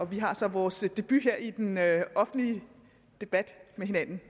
vi har så vores debut her i den offentlige debat med hinanden